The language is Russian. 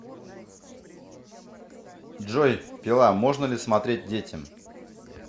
джой пила можно ли смотреть детям